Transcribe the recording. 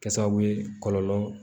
Kɛ sababu ye kɔlɔlɔ